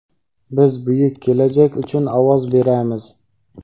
Biz buyuk kelajak uchun ovoz beramiz!.